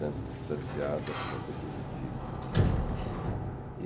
Tanto distanciada, sempre é positivo.